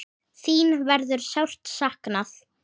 þín verður sárt saknað.